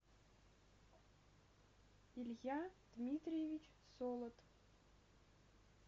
илья дмитриевич солод